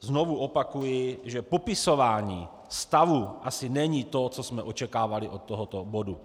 Znovu opakuji, že popisování stavu asi není to, co jsme očekávali od tohoto bodu.